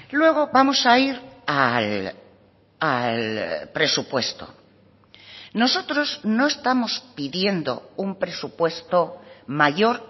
luego vamos a ir al presupuesto nosotros no estamos pidiendo un presupuesto mayor